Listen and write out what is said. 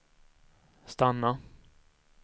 stanna